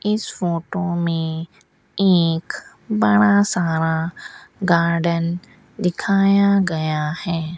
इस फोटो में एक बड़ा सारा गार्डन दिखाया गया है।